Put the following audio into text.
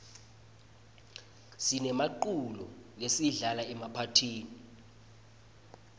sinemiculo lesiyidlala emaphathini